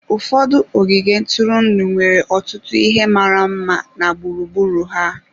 Ụfọdụ ogige ntụrụndụ nwere ọtụtụ ihe mara mma na gburugburu ha.